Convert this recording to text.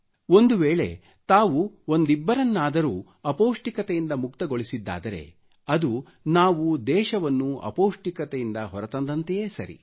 ಒಂದು ವೇಳೆ ತಾವು ಒಂದಿಬ್ಬರಿಗಾದರೂ ಅಪೌಷ್ಟಿಕತೆಯಿಂದ ಮುಕ್ತಗೊಳಿಸಿದ್ದಾರೆ ಅದು ನಾವು ದೇಶವನ್ನು ಅಪೌಷ್ಟಿಕತೆಯಿಂದ ಹೊರಗೆ ತಂದಂತೆಯೇ ಸರಿ